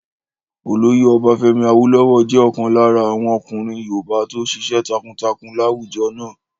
Olóyè Ọbafẹ́mi Awólówọ̀ jẹ́ ọ̀kan lára àwọn ọkùnrin yoòbá tó ṣiṣẹ́ takuntakun láwùjọ náà